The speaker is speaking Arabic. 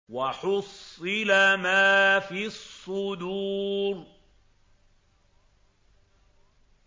وَحُصِّلَ مَا فِي الصُّدُورِ